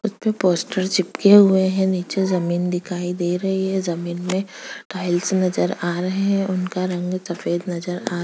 उसपे पोस्टर चिपके हुए है नीचे जमीन दिखाई दे रही है जमीन में टाइल्स नजर आ रहे है उनका रंग सफेद नजर आ --